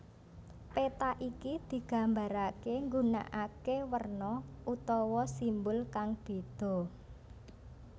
Péta iki digambaraké nggunakaké werna utawa simbol kang bédha